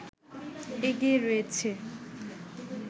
এগিয়ে রয়েছে